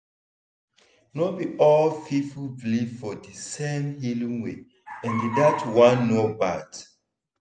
no be all people believe for di same healing way and dat one no bad.